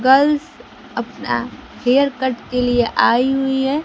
Girls अपना haircut के लिए आई हुई है।